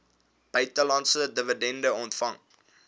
buitelandse dividende ontvang